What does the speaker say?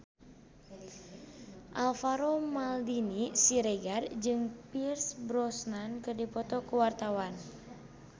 Alvaro Maldini Siregar jeung Pierce Brosnan keur dipoto ku wartawan